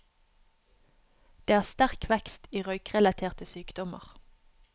Det er sterk vekst i røykerelaterte sykdommer.